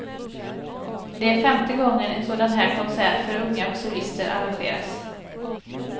Det är femte gången en sådan här konsert för unga solister arrangeras.